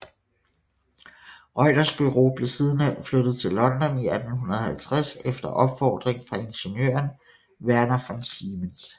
Reuters Bureau blev sidenhen flyttet til London i 1850 efter opfordring fra ingeniøren Werner von Siemens